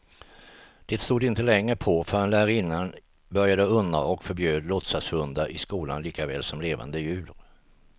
Det stod inte länge på, förrän lärarinnan började undra och förbjöd låtsashundar i skolan likaväl som levande djur.